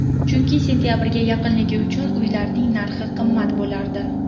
Chunki sentabrga yaqinligi uchun uylarning narxi qimmat bo‘lardi.